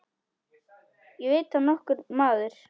Veit það nokkur maður?